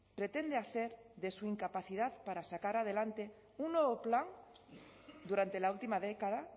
pretende hacer de su incapacidad para sacar adelante un nuevo plan durante la última década